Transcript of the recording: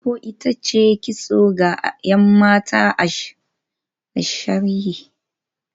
Mpopo ita ce kitso ga ‘yan mata a shirye-shiryen aure, tsohuwar al’ada ce da Ibibio pepple ke yi